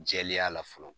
Jɛlenya la fɔlɔ